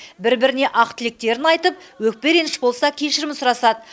бір біріне ақ тілектерін айтып өкпе реніш болса кешірім сұрасады